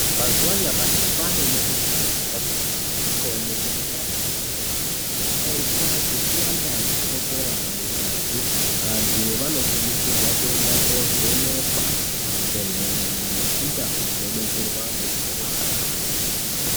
Mazuwa anyamashi kwane mukhuhlani yakati kuti isikaoneki ngemadzisopi yakaita sechukera yakawanda mungazi antu anokurudzirwa kuenda kovhenekwa kuzvibhehlera nekundau dzinodetserwa antu anorwara.